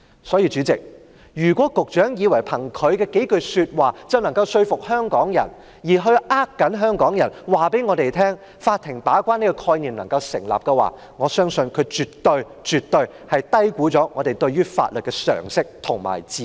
所以，代理主席，如果局長以為憑他的數句話，便能夠說服香港人，欺騙香港人，法庭把關這個概念能夠成立，他絕對低估了我們對於法律的常識和智慧。